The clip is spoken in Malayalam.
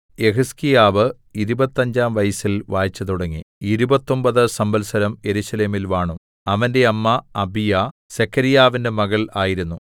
യെഹിസ്കീയാവ് ഇരുപത്തഞ്ചാം വയസ്സിൽ വാഴ്ചതുടങ്ങി ഇരുപത്തൊമ്പത് സംവത്സരം യെരൂശലേമിൽ വാണു അവന്റെ അമ്മ അബീയാ സെഖര്യാവിന്റെ മകൾ ആയിരുന്നു